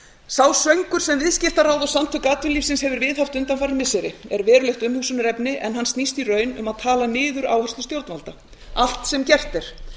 sá söngur sem viðskiptaráð og samtök atvinnulífsins hefur viðhaft undanfarin missiri er verulegt umhugsunarefni en hann snýst í raun um að tala niður áherslur stjórnvalda allt sem gert er